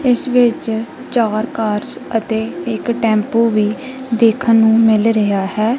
ਇੱਸ ਵਿੱਚ ਚਾਰ ਕਾਰਸ ਅਤੇ ਇੱਕ ਟੈਂਪੂ ਵੀ ਦੇਖਨ ਨੂੰ ਮਿੱਲ ਰਿਹਾ ਹੈ।